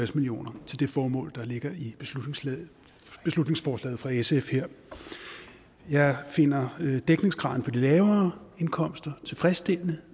million kroner til det formål der ligger i beslutningsforslaget her fra sf jeg finder dækningsgraden for de lavere indkomster tilfredsstillende